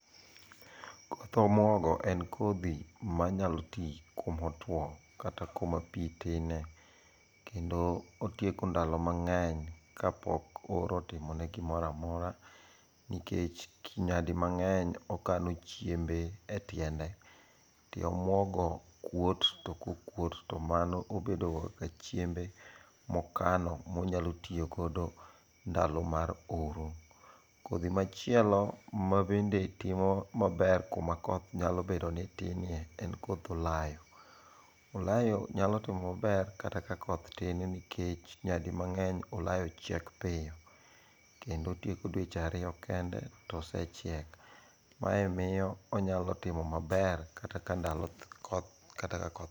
koth omuogo en kodhi manyalo ti kumo tuo kata kuma pii tine kendo otieko ndalo mang'eny kapok oro otimone gimoro amora nikech nyadi mang'eny okano chiembe e tiende, tie omuogo kuot to kokuot to mano obedo go kaka chiembe mokano monyalo tiyo godo ndalo mar oro ,kodhi machielo mabende nyalo timo mabe kama pi tinie en koth olayo, olayo nyalo timo maber kata koth tin nikech nyadi mang'eny olayo chiek pile kendo otieko dweche ariyo kende to osechiek, mae miyo onyalo timo maber kata ka koth tin.